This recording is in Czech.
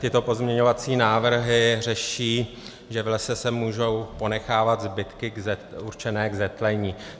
Tyto pozměňovací návrhy řeší, že v lese se můžou ponechávat zbytky určené k zetlení.